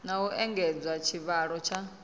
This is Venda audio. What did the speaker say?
na u engedza tshivhalo tsha